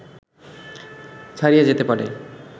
ছাড়িয়ে যেতে পারে